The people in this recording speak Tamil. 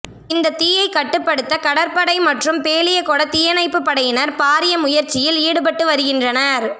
இந்த தீயை கட்டுப்படுத்த கடற்படை மற்றும் பேலியகொட தீயணைப்பு படையினர் பாரிய முயற்சியில் ஈடுபட்டு வருகின்றனர்